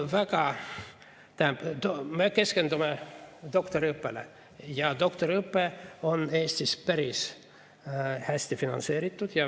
Me keskendume doktoriõppele ja doktoriõpe on Eestis päris hästi finantseeritud.